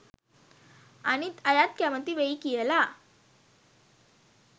අනිත් අයත් කැමති වෙයි කියලා